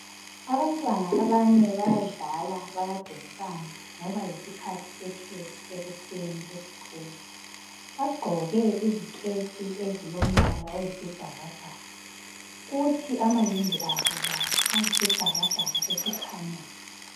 abantwana abane bayadlala bayadonsana ngoba yisikhathi sekhefu ekuseni esikolo bagqoke iziketi ezilompala oyisibhakabhaka kuthi amahembe abo lawo ongumbala oyisibhakabhaka okhanyayo